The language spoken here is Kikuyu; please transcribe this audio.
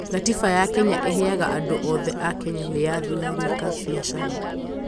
gatiba ya Kenya ĩheaga andũ othe a Kenya wĩyathi wa gwĩka biacara